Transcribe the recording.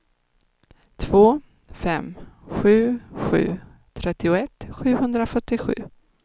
två fem sju sju trettioett sjuhundrafyrtiosju